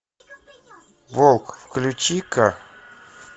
волк включи ка